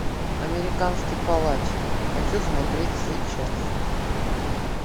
американский палач хочу смотреть сейчас